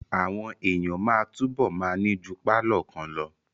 Àwọn èèyàn máa túbọ̀ ma ní ju pálọ̀ kan lọ